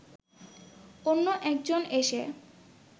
অন্য একজন এসে